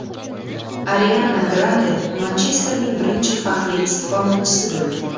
Ariana Grande Manchesterning birinchi faxriy istiqomatchisi bo‘ldi.